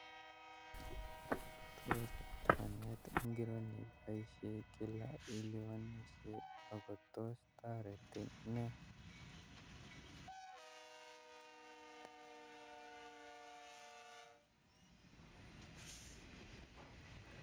Tos lipanet ngiro nepaishe kila ilipanishee ako tos taretin ne